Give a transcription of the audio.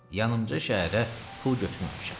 Yanımca şəhərə pul götürməmişəm.